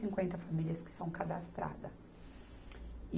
cinquenta famílias que são cadastradas. E